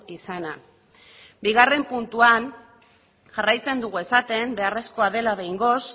izana bigarrena puntuan jarraitzen dugu esaten beharrezkoa dela behingoz